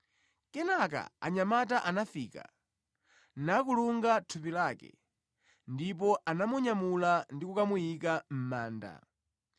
Kenaka anyamata anafika, nakulunga thupi lake, ndipo anamunyamula ndi kukamuyika mʼmanda.